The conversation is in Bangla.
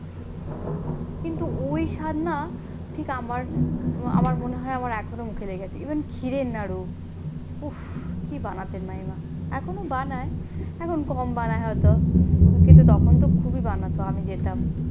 কিন্তু ওই স্বাদ না ঠিক আমার আমার মনে হয় আমার এখনো মুখে লেগে আছে ইভেন ক্ষীরের নাড়ু উফ কি বানাতেন মামিমা এখনো বানায় এখনো কম বানায় হয়তো কিন্তু তখন তো খুবই বানাতো আমি যেতাম।